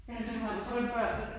Ja, det meget sjovt